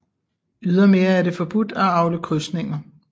Ydermere er det forbudt at avle krydsninger